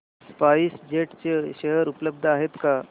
spice jet चे share उपलब्ध आहेत का